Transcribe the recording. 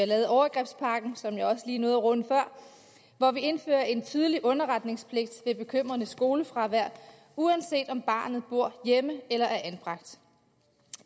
lavet overgrebspakken som jeg også lige nåede at runde før hvor vi indfører en tydelig underretningspligt ved bekymrende skolefravær uanset om barnet bor hjemme eller det er anbragt